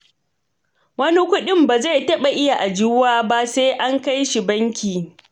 Wani kuɗin ba zai taɓa iya ajiyuwa ba sai an kai shi banki.